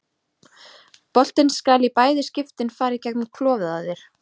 Boltinn skal í bæði skiptin fara í gegnum klofið á þér.